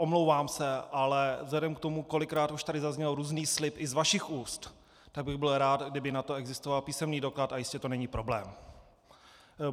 Omlouvám se, ale vzhledem k tomu, kolikrát už tady zazněl různý slib i z vašich úst, tak bych byl rád, kdyby na to existoval písemný doklad, a jistě to není problém.